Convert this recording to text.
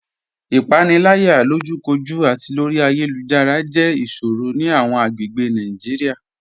Ipanilaya, lojúkòjú àti lórí ayélujára, jẹ́ iṣòrò ni awọn agbègbè Naijiria.